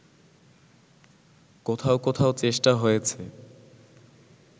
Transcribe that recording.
কোথাও কোথাও চেষ্টা হয়েছে